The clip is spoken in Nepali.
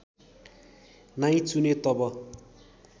नै चुने तब